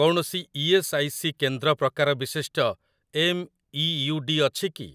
କୌଣସି ES. I. C. କେନ୍ଦ୍ର ପ୍ରକାର ବିଶିଷ୍ଟ ଏମ୍ଇୟୁଡି ଅଛି କି?